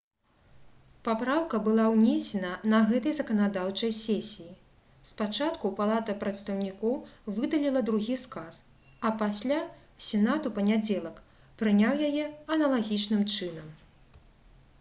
папраўка была ўнесена на гэтай заканадаўчай сесіі спачатку палата прадстаўнікоў выдаліла другі сказ а пасля сенат у панядзелак прыняў яе аналагічным чынам